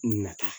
Nata